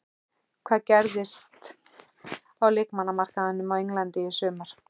Hvað gerist á leikmannamarkaðinum á Englandi í sumar?